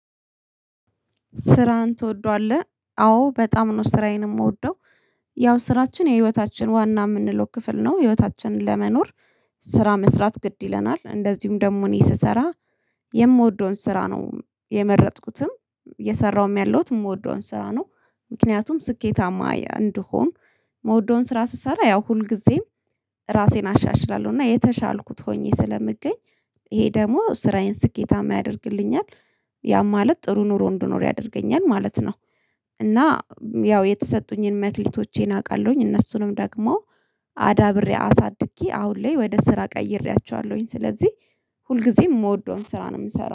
ስራህን ትወደዋለህ? አዎ በጣም ነው ስራዬን የምወደው ያው ስራችን የህይወታችን ዋና የምንለው ክፍል ነው። ህይወታችንን ለመኖር ስራ መስራት ግድ ይለናል። እንደዚሁም ደግሞ እኔ ስሰራ የምወደውን ስራ ነው የመረጥኩትም እየሰራሁም ያለሁት የምወደውን ስራ ነው። ምክንያቱም ስኬታማ እንድሆን ምውደውን ስራ ስሰራ ያው ሁልጊዜም ራሴን አሻሽላለሁ እና የተሻልኩት ሆኜ ስለምገኝ ይሄ ደግሞ ስራዬን ስኬታማ ያደርግልኛል ያ ማለት ጥሩ ኑሮ እንድኖር ያደርገኛል ማለት ነው። እና ያው የተሰጡኝን መክሊቶቼን አውቃለሁኝ እነሱንም ደግሞ አዳብሬ አሳድጌ አሁን ላይ ወደ ስራ ቀይሬያቸዋለሁኝ ስለዚህ ሁልጊዜም የምወደውን ስራ ነው የምሰራው